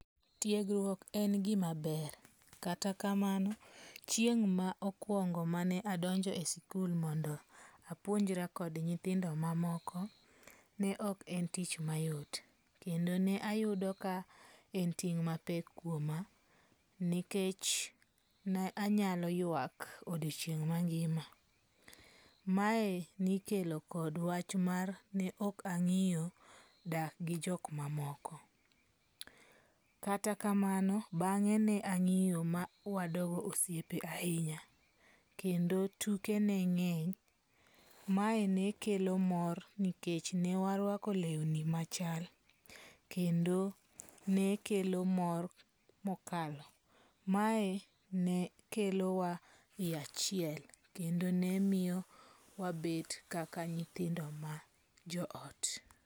Tiegruok en gima ber, kata kamano chieng ma okungo mane adonje e sikul mondo apuonjra kod nyithindo mamoko, ne ok en tich mayot kendo nayudo ka en ting' mapek kuoma nikech ne anyalo yuak odiochieng mangima, mae nikelo kod wach mar ne okangiyo dak gi jok mamoko, kata kamano bange' ne angiyo ma wadogo osiepe ahinya kendo tuke ne ngeny, mae nekelo mor ni waruako lewni machal kendo ne kelo mor mokalo, mae nekelowa e achiel kendo ne miyowa wabet kaka nyithindo ma joo ot.